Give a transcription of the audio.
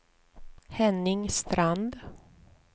Henning Strand